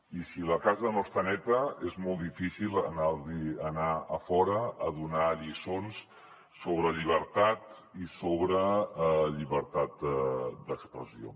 i si la casa no està neta és molt difícil anar a fora a donar lliçons sobre llibertat i sobre llibertat d’expressió